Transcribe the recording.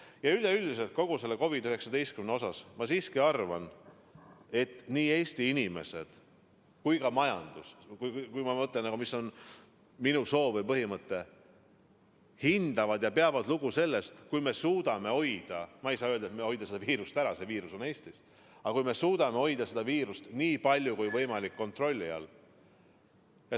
Ja üleüldiselt kogu selle COVID-19 osas ma siiski arvan, et nii Eesti inimesed kui ka majandus – kui ma mõtlen, mis on minu soov või põhimõte – hindavad ja peavad lugu sellest, kui me suudame hoida – ma ei saa öelda, et hoida seda viirust ära, see viirus on Eestis – seda viirust nii palju kui võimalik kontrolli all.